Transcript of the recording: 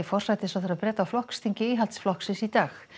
forsætisráðherra Breta á flokksþingi Íhaldsflokksins í dag